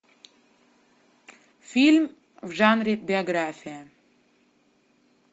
фильм в жанре биография